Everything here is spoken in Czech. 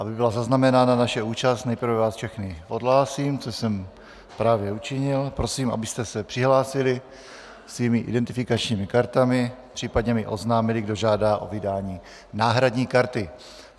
Aby byla zaznamenána naše účast, nejprve vás všechny odhlásím, což jsem právě učinil, prosím, abyste se přihlásili svými identifikačními kartami, případně mi oznámili, kdo žádá o vydání náhradní karty.